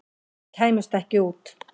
Þeir kæmust ekki út.